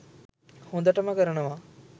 හොදටම කරනවා.